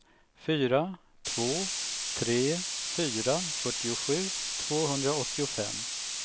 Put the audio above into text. fyra två tre fyra fyrtiosju tvåhundraåttiofem